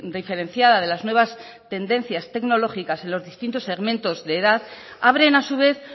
diferenciada de las nuevas tendencias tecnológicas en los distintos segmentos de edad abren a su vez